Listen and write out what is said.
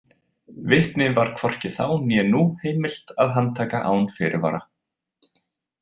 Vitni var hvorki þá né nú heimilt að handtaka án fyrirvara.